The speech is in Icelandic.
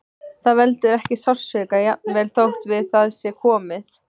Það veldur ekki sársauka, jafnvel þótt við það sé komið.